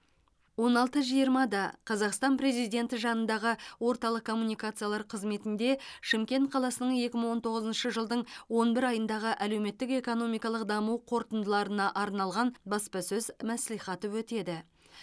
он алты жиырмада қазақстан президенті жанындағы орталық коммуникациялар қызметінде шымкент қаласының екі мың он тоғызыншы жылдың он бір айындағы әлеуметтік экономикалық даму қорытындыларына арналған баспасөз мәслихаты өтеді